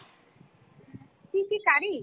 কী কী curry?